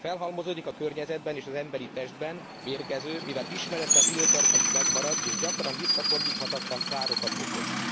Ha felhalmozódik a környezetben és az emberi testben, mérgező, mivel ismeretlen időtartamig megmarad és gyakran visszafordíthatatlan károkat okoz.